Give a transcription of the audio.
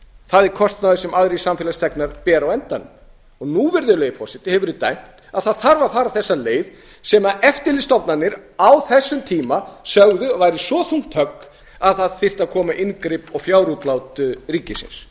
það er kostnaður sem aðrir samfélagsþegnar bera á endanum nú hefur verið dæmt að það þarf að fara þessa leið sem eftirlitsstofnanir á þessum tíma sögðu að væri svo þungt högg að það þyrfti að koma inngrip og fjárútlát ríkisins